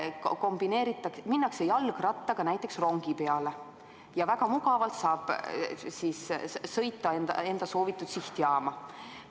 Kombineeritakse, minnakse jalgrattaga näiteks rongi peale ja väga mugavalt saab siis sõita enda soovitud sihtjaama.